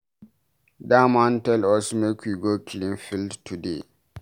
Dat man tell us make we go clean field today.